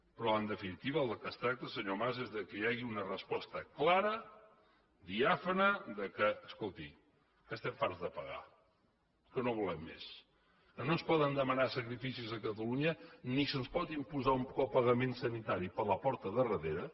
però en definitiva del que es tracta senyor mas és que hi hagi una resposta clara diàfana que escolti estem farts de pagar que no ho volem més que no ens poden demanar sacrificis a catalunya ni se’ns pot imposar un copagament sanitari per la porta de darrere